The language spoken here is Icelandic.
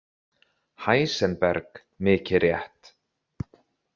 Heisenberg, mikið rétt.